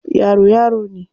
Yaro, yaro ne.